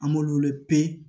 An b'olu pepe